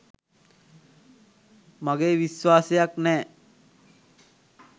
මගේ විශ්වාසයක් නෑ..